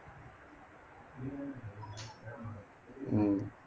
உம்